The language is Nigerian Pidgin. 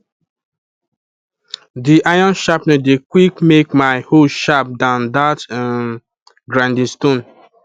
the iron sharpener dey quick make my hoe sharp than that um grinding stone